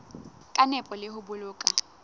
ka nepo le ho boloka